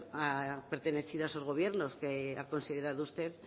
ha pertenecido a esos gobiernos que ha considerado usted